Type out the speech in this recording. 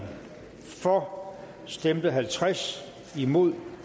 for stemte halvtreds imod